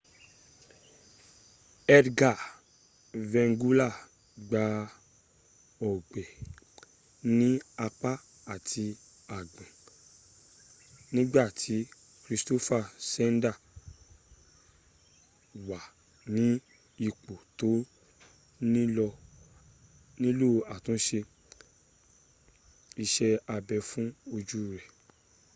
edgar veguilla gba ọgbẹ́ ní apá ati àgbọ̀ǹ nígbà tí kristoffer scheider wà ní ipò tó nílò àtúnsẹ isé abẹ fún ojú rè